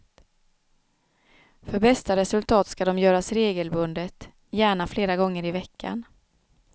För bästa resultat ska de göras regelbundet, gärna flera gånger i veckan.